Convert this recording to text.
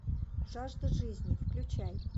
жажда жизни включай